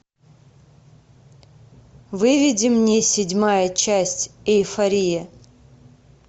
выведи мне седьмая часть эйфория